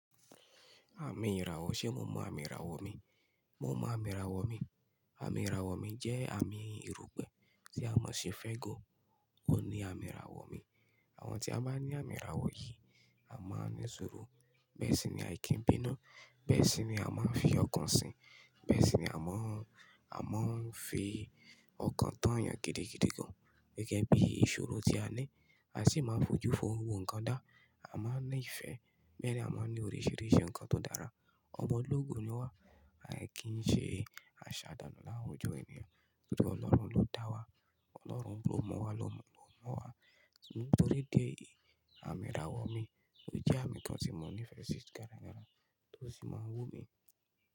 Àmì ìràwọ̀, ṣe mo mọ àmì ìràwọ̀ mi? Mo mọ àmì ìràwọ̀ mi. Àmì ìràwọ̀ mi jẹ́ àmì erúpẹ̀ tí a mọ̀ sí Frego. Ó ní àmì ìràwọ̀ mi. Àwọn tí a máa ń ní àmì ìràwọ̀ yìí, a máa ń ní ṣuuru. Bẹ́ẹ̀ sì ni àìkínbínú. Bẹ́ẹ̀ sì ni a máa ń fi ọkàn sìn. Bẹ́ẹ̀ sì ni a máa ń, a máa ń fi ọkàn tán yàn gidigidi gan. Gẹ́gẹ́ bí ìṣòro tí a ní, a sì máa ń fojú fo gbogbo nǹkan dá. A máa ń ní ìfẹ́, bẹ́ẹ̀ ni a máa ń ní oríṣìíríṣìí nǹkan tó dára. Ọmọ ológo ni wá, ai kì í ṣe àṣà dànù láwùjọ ènìyàn. Nítorí Ọlọ́run ló dá wa. Ọlọ́run bú ọmọ wa ló mọ́ wa. Nítorí ìdî éyì, àmì ìràwọ̀ mi ó jẹ́ àmì kan tí mò ń ní fẹ́si gara-gara tó sì máa wú mi.